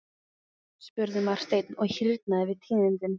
spurði Marteinn og hýrnaði við tíðindin.